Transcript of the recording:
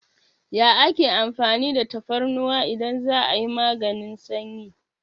Ya ake amfani da tafarnuwa idan za'a yi maganin sanyi?